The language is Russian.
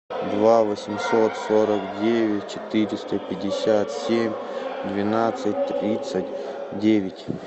два восемьсот сорок девять четыреста пятьдесят семь двенадцать тридцать девять